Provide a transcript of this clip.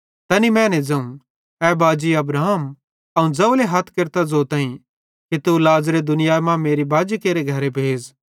तैनी मैने ज़ोवं ए बाजी अब्राहम अवं ज़ोवले हथ केरतां ज़ोताईं कि तू लाज़रे दुनियाई मां मेरे बाजी केरे घरे भेज़